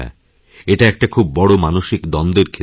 এটাএকটা খুব বড় মানসিক দ্বন্দ্বের ক্ষেত্র